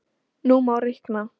Nú má reikna: